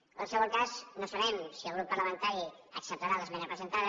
en qualsevol cas no sabem si el grup parlamentari acceptarà l’esmena presentada